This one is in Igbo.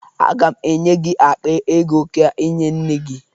Aga m enye gị akpa ego ka ị nye nne gị